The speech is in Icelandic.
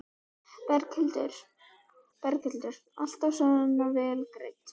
Berghildur: Alltaf svona vel greidd?